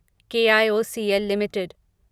KIOCL limited